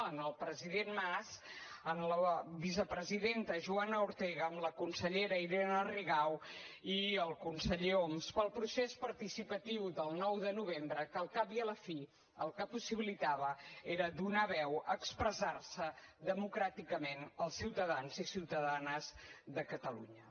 en el president mas en la vicepresidenta joana ortega en la consellera irene rigau i el conseller homs pel procés participatiu del nou de novembre que al cap i a la fi el que possibilitava era donar veu a expressar se democràticament als ciutadans i ciutadanes de catalunya